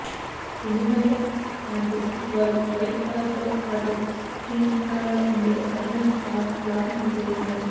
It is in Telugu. ఎందుకంటే ఆ డ్రెస్కి వారు వైట్ కలర్తో పాటు స్కిన్ కలర్లో ఉండే ఒకరకమైన క్లాత్ను ఉపయోగించారు